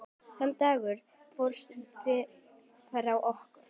Þann dag fórstu frá okkur.